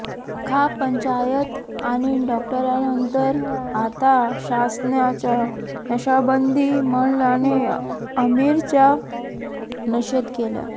खाप पंचायत आणि डॉक्टरांनंतर आता शासनाच्या नशाबंदी मंडळाने आमीरचा निषेध केलाय